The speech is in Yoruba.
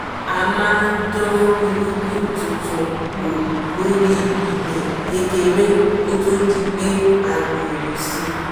a máa dán irúgbìn tuntun wò lórí ilẹ̀ kékeré kó tó di pé a gbòòrò sí